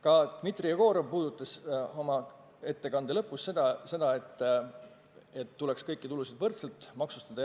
Ka Dmitri Jegorov puudutas oma ettekande lõpus seda, et tuleks kõiki eraisikute tulusid võrselt maksustada.